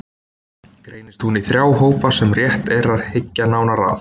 Greinist hún í þrjá hópa sem rétt er að hyggja nánar að